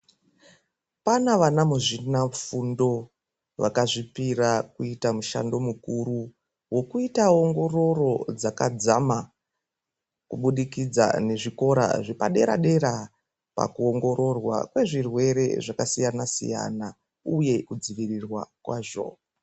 Pana vana muzvina fundo vakazvipira kuita mushando mukuru vokuita ongororo dzakadzama. Kubudikidza ngezvikora zvepadera-dera, pakuongororwa kwezvirwere zvakasiyana-siyana, uye kudzivirirwa kwazvo.